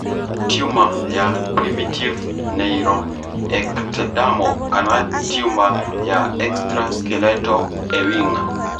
Tiuma ya primitive neuroectodermal kana tiuma ya Extraskeletal Ewing.